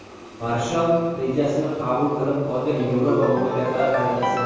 Marshall rejasini qabul qilib olgan Yevropa mamlakatlari xaritasi.